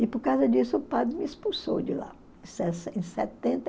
E por causa disso o padre me expulsou de lá, em setenta